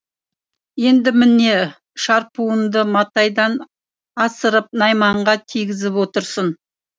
енді міне шарпуыңды матайдан асырып найманға тигізіп отырсың